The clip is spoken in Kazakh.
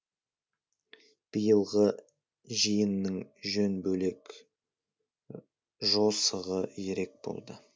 биылғы жиынның жөні бөлек жосығы ерек болды